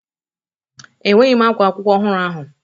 Enweghị m ákwá akwụkwọ ọhụrụ ahụ.